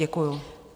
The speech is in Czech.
Děkuji.